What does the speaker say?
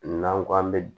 N'an ko an bɛ